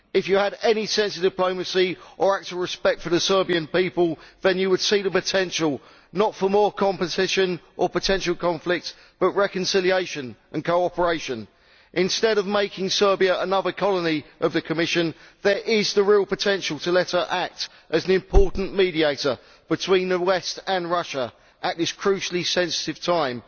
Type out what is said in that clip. If you had any sense of diplomacy or were to act out of respect for the Serbian people, then you would see the potential not for more competition or potential conflict, but for reconciliation and cooperation. Instead of making Serbia another colony of the Commission there is the real potential to let her act as an important mediator between the West and Russia at this crucially sensitive time